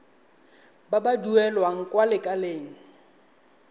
ba ba duelang kwa lekaleng